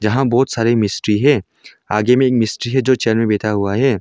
जहां बहुत सारी मिस्त्री है आगे में मिस्त्री है जो चैनल बैठा हुआ है।